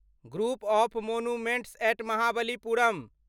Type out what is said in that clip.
group of monuments at Mahabalipuram